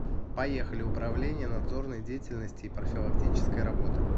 поехали управление надзорной деятельности и профилактической работы